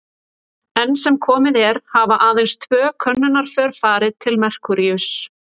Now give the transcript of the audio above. Enn sem komið er hafa aðeins tvö könnunarför farið til Merkúríuss.